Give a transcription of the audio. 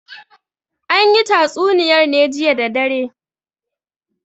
An yi tatsuniyar ne jiya da dare.